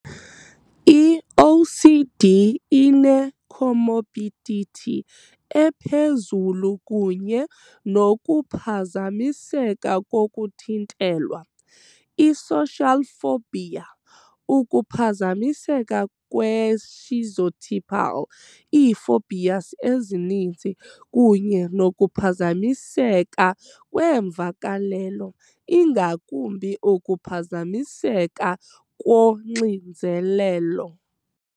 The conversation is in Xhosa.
I-OCD ine -comorbidity ephezulu kunye nokuphazamiseka kokuthintelwa, i-social phobia, ukuphazamiseka kwe-schizotypal, ii -phobias ezininzi, kunye nokuphazamiseka kweemvakalelo, ingakumbi ukuphazamiseka koxinzelelo